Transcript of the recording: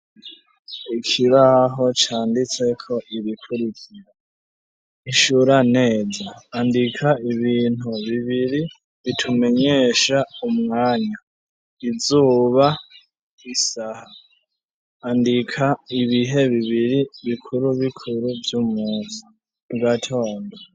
Ikibaho canditseko ibikurikira ishura neza andika ibintu bibiri bitumenyesha umwanya izuba, isaha, andika ibihe bibiri bikuru bikuru vy'umunsi mugatondo.